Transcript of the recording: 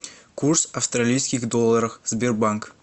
курс австралийских долларов сбербанк